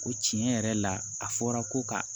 O tiɲɛ yɛrɛ la a fɔra ko ka